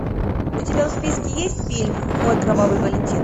у тебя в списке есть фильм мой кровавый валентин